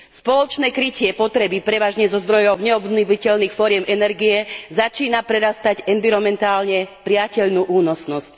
Spoločné krytie potreby prevažne zo zdrojov neobnoviteľných foriem energie začína prerastať environmentálne prijateľnú únosnosť.